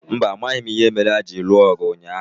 Mba, amaghị m ìhè méré hà jiri lụọ ọgụ ụnyaahụ